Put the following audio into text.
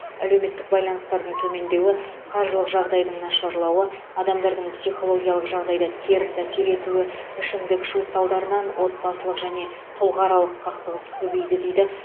әлеуметтік байланыстардың төмендеуі қаржылық жағдайдың нашарлауы адамдардың психологиялық жағдайда теріс әсер етуі ішімдік ішу салдарынан отбасылық және тұлғааралық қақтығыс көбейді дейді